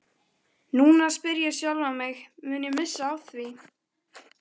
Núna spyr ég sjálfan mig, mun ég missa af því?